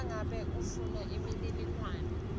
nangabe ufuna imininingwane